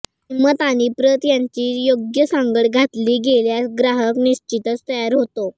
किंमत आणि प्रत यांची योग्य सांगड घातली गेल्यास ग्राहक निश्चितच तयार होतो